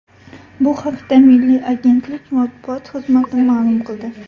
Bu haqda Milliy agentlik matbuot xizmati ma’lum qildi .